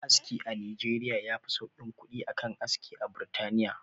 Aski a nijeriya yafi sauƙin kuɗi a kan aski a burtaniya